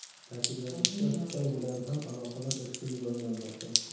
Ta’kidlanishicha, Xitoy bilan ham aloqalar izchil rivojlanmoqda.